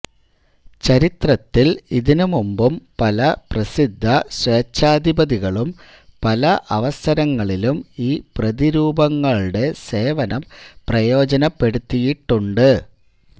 ചരിത്രത്തിൽ ഇതിനു മുമ്പും പല പ്രസിദ്ധ സ്വേച്ഛാധിപതികളും പല അവസരങ്ങളിലും ഈ പ്രതിരൂപങ്ങളുടെ സേവനം പ്രയോജനപ്പെടുത്തിയിട്ടുണ്ട്